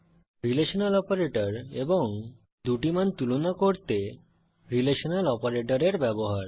relational operator এবং দুটি মান তুলনা করতে রিলেশনাল অপারেটরের ব্যবহার